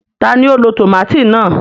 Tani o ló tomati náà?